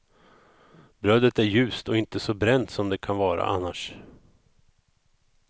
Brödet är ljust och inte så bränt som det kan vara annars.